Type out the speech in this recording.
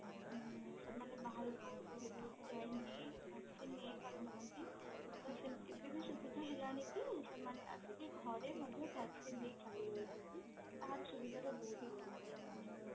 ସେମାନେ ବାହାରକୁ ଯାଇକି vaccine ନେଇପାରୁନାହାନ୍ତି ଏବେ ସେମିତି ସୁବିଧା ହୀଳନୀ କି ସେମାନେ ଘରେ ମଧ୍ୟ vaccine ଦେଇ ଚାଲି ଯାଉଛନ୍ତି